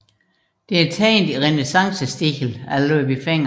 Det er tegnet i renæssancestil af Ludvig Fenger